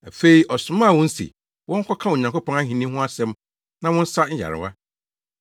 Afei ɔsomaa wɔn se wɔnkɔka Onyankopɔn ahenni ho asɛm na wɔnsa nyarewa.